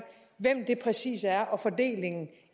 hvem det præcis er og fordelingen af